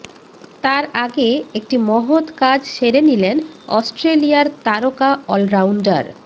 তার আগে একটি মহৎ কাজ সেরে নিলেন অস্ট্রেলিয়ার তারকা অলরাউন্ডার